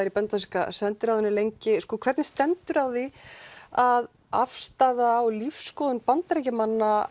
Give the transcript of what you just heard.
í bandaríska sendiráðinu lengi hvernig stendur á því að afstaða og lífsskoðun Bandaríkjamanna